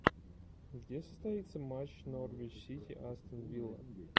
где состоится матч норвич сити астон вилла